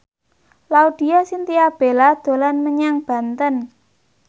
Laudya Chintya Bella dolan menyang Banten